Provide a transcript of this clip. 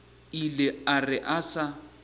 ile a re a sa